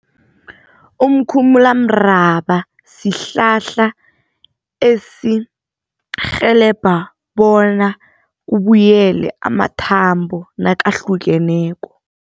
Umkhumulamraba sihlahla esirhelebha bona kubuyele amathambo nakahlukeneko.